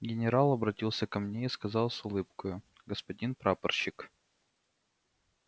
генерал обратился ко мне и сказал с улыбкою господин прапорщик